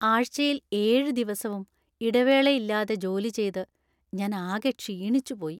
ആഴ്ചയിൽ ഏഴ് ദിവസവും ഇടവേളയില്ലാതെ ജോലി ചെയ്ത് ഞാനാകെ ക്ഷീണിച്ചു പോയി.